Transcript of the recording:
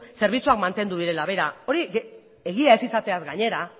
zerbitzuak mantendu direla begira hori egia ez izateaz gainera